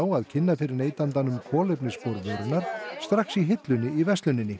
að kynna fyrir neytandanum kolefnisspor vörunnar strax í hillunni í versluninni